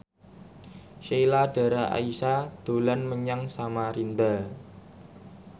Sheila Dara Aisha dolan menyang Samarinda